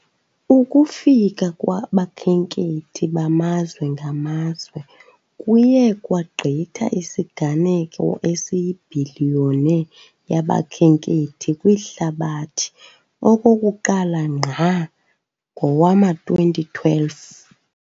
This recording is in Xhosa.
Ukufika kwabakhenkethi bamazwe ngamazwe kuye kwagqitha isiganeko esiyibhiliyoni yabakhenkethi kwihlabathi okokuqala ngqa ngowama-2012